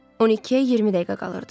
12-yə 20 dəqiqə qalırdı.